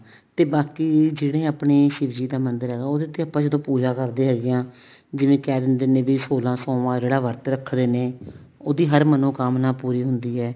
ਤੇ ਬਾਕੀ ਜਿਹੜੇ ਆਪਣੇ ਸੀਵ ਜੀ ਦਾ ਮੰਦਰ ਹੈਗਾ ਉਹਦੇ ਤੇ ਆਪਾਂ ਜਦੋਂ ਪੂਜਾ ਕਰਦੇ ਹੈਗੇ ਹਾਂ ਜਿਵੇਂ ਕਹਿ ਦਿੰਦੇ ਨੇ ਵੀ ਸੋਲਾਂ ਸੋਮਵਾਰ ਜਿਹੜਾ ਵਰਤ ਰੱਖਦੇ ਨੇ ਉਹਦੀ ਹਰ ਮਨੋਕਾਮਨਾ ਪੂਰੀ ਹੁੰਦੀ ਹੈ